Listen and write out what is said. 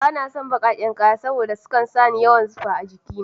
Bana son bakaken kaya, domin sukan sa ni yawan zufa a jikina.